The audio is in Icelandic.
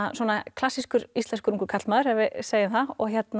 klassískur íslenskur ungur karlmaður ef við segjum það